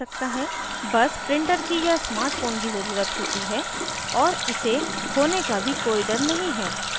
बस printer की या smart phone की ज़रुरत है और इसे खोने का भी कोई डर नहीं है